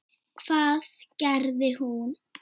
Hvað gerði hún?